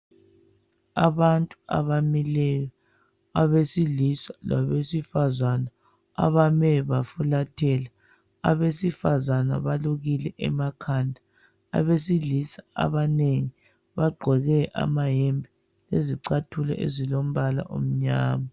Abantu abamileyo. Abesilisa labesifazana. Abame bafulathela. Abesifazana balukile emakhanda, Abesilisa abanengi bagqoke amayembe lezicathulo ezilombala omnyama.